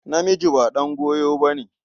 Namiji ba ɗan goyo ba ne.